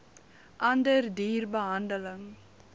ander duur behandeling